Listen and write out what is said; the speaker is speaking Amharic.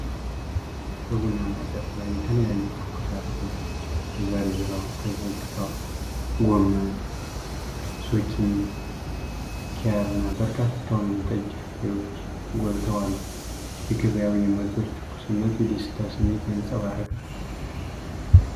በቡናማ ጨርቅ ላይ የተለያዩ ትኩስ አትክልቶች ተዘርግተዋል። ጎመን፣ ዞኪኒ፣ ኪያርና በርካታ ወይንጠጅ ፍሬዎች ጎልተው አሉ። የገበያው የምርቶቹ ትኩስነት የደስታ ስሜትን ያንጸባርቃል።